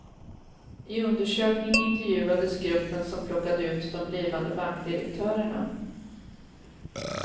I undersökningen intervjuades gruppen som plockade ut de blivande bankdirektörerna.